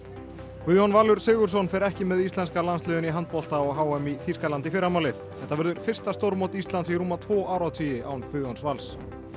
Guðjón Valur Sigurðsson fer ekki með íslenska landsliðinu í handbolta á h m í Þýskalandi í fyrramálið þetta verður fyrsta stórmót Íslands í rúma tvo áratugi án Guðjóns Vals